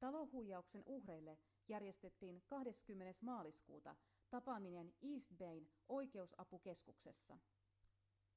talohuijauksen uhreille järjestettiin 20 maaliskuuta tapaaminen east bayn oikeusapukeskuksessa